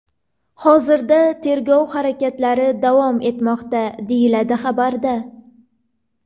Hozirda tergov harakatlari davom etmoqda”, deyiladi xabarda.